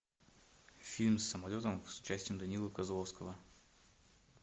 фильм с самолетом с участием данила козловского